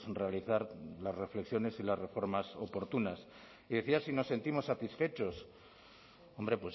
realizar las reflexiones y las reformas oportunas y decía si nos sentimos satisfechos hombre